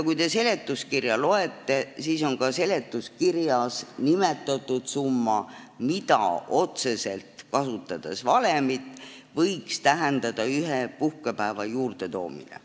Kui te seletuskirja loete, siis näete ka seal nimetatud summat, mida otseselt võiks tähendada ühe puhkepäeva juurdetoomine.